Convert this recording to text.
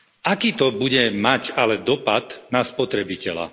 Aký to bude mať ale dopad na spotrebiteľa?